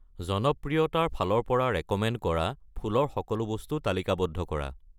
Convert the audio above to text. জনপ্ৰিয়তাৰ ফালৰ পৰা ৰেক'মেণ্ড কৰা ফুল ৰ সকলো বস্তু তালিকাবদ্ধ কৰা।